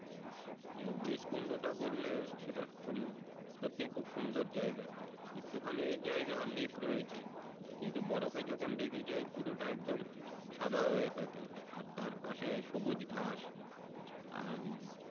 আহ বেশকুন্ডু টা বলবে সেটা সত্যি খুব সুন্দর জায়গা একটু খানি জায়গাউ লেক রয়েছে কিন্তু বরফে যখন ঢেকে যায় পুরো টা একদম সাদা হয়ে থাকে আর তারপাশে সবুজ ঘাস আর